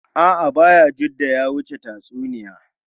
A’a, Bayajidda ya wuce tatsuniya.